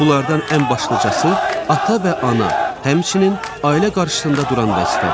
Bunlardan ən başlıcası ata və ana, həmçinin ailə qarşısında duran vəzifədir.